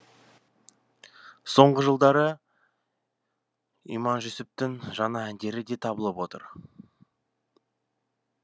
соңғы жылдары иманжүсіптің жаңа әндері де табылып отыр